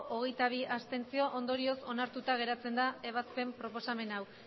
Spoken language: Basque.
hogeita bi ondorioz onartuta geratzen da ebazpen proposamen hau